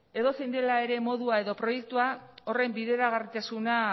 edozein dela ere modua edo proiektua horren bideragarritasuna